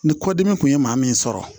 Ni kɔdimi kun ye maa min sɔrɔ